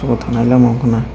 o tanai lama ungka na --